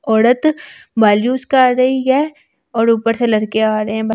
औरत कर आ रही है और ऊपर से लड़के आ रहे हैं।